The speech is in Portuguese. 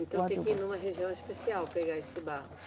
Então tem que ir numa região especial pegar esse barro.